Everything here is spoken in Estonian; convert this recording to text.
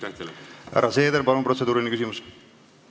Härra Seeder, palun protseduuriline küsimus!